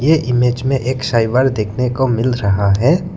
ये इमेज में एक साइबर देखने को मिल रहा है।